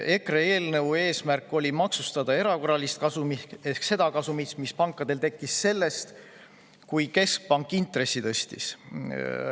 EKRE eelnõu eesmärk oli maksustada erakorralist kasumit ehk seda kasumit, mis pankadel tekkis siis, kui keskpank intressi tõstis.